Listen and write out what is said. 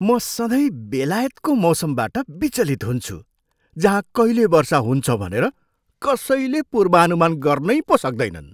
म सधैँ बेलायतको मौसमबाट विचलित हुन्छु जहाँ कहिले वर्षा हुन्छ भनेर कसैले पूर्वनुमान गर्नै पो सक्दैनन्।